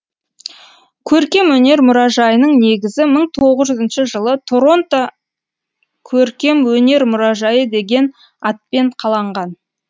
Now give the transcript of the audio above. көркемөнер мұражайының негізі мың тоғызыншы жылы торонто көркемөнер мұражайы деген атпен қаланған